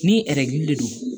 Ni de don